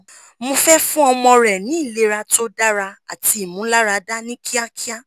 mo fẹ fun ọmọ rẹ ni ilera to dara ati imularada ni kiakia